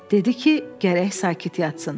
Dedi ki, gərək sakit yatsın.